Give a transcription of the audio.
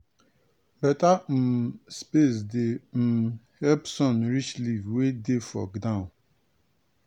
beta um space dey um help sun reach leaf wey dey for down.